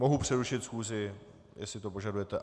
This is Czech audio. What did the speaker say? Mohu přerušit schůzi, jestli to požadujete.